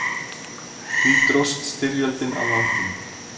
Því dróst styrjöldin á langinn.